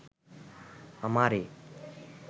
আমারে